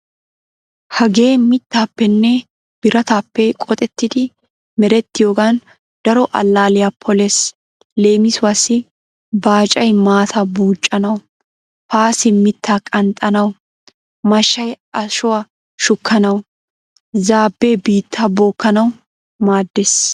Hagee mittaappenne birataappe qoxettidi merettiyoogan daro allaalliya polees. Leemisuwaassi baacay maataa buuccanawu, paasee mittaa qanxxanawu, mashshay ashuwaa shukkanawunne zaabbee biittaa bookkanawu maaddeees.